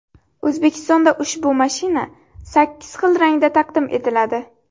O‘zbekistonda ushbu mashina sakkiz xil rangda taqdim etiladi.